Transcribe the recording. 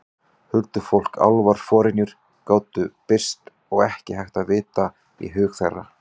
Huldufólk, álfar, forynjur gátu birst og ekki hægt að vita í hug þeirra.